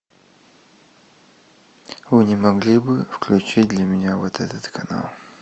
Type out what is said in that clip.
вы не могли бы включить для меня вот этот канал